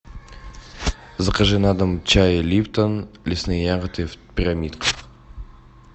закажи на дом чай липтон лесные ягоды в пирамидках